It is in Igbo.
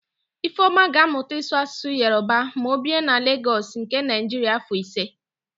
Ifeọma ga-amụta ịsụ Asụsụ Yoroba ma o bie na Legọs nke Naịjiria afọ ise.